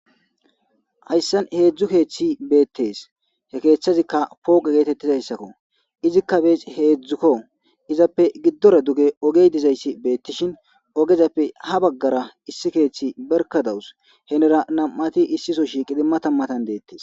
Hayssan heedzdzu keeththi beettees he keeththazikka pooge geetettizayssakko izikka heedzdzukko izappe giddore duge ogey dizayssi beettishin ogezappe ha baggara issi keeththi berkadawus henera nam7ati issiso shiqidi matammatan deettes.